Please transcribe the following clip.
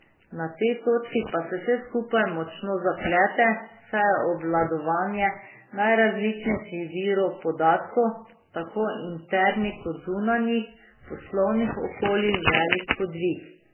Na tej točki pa se vse skupaj močno zaplete, saj je obvladovanje najrazličnejših virov podatkov, tako internih kot zunanjih, v poslovnih okoljih velik podvig.